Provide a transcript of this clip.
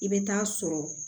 I bɛ taa sɔrɔ